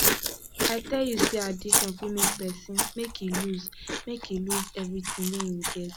i tell you sey addiction fit make pesin make e loose make e loose everytin wey im get